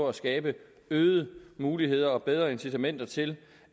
at skabe øgede muligheder og bedre incitamenter til